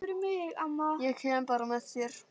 Ég kem bara með þér!